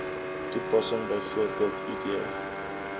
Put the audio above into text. toepassing bv id